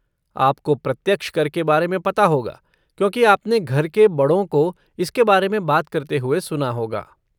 आपको प्रत्यक्ष कर के बारे में पता होगा क्योंकि आपने घर के बड़ों को इसके बारे में बात करते हुए सुना होगा।